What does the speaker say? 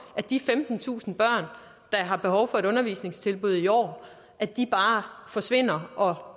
de femtentusind børn der har behov for et undervisningstilbud i år bare forsvinder og